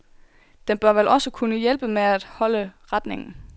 Den bør vel også kunne hjælpe med at holde retningen.